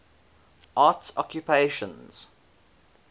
arts occupations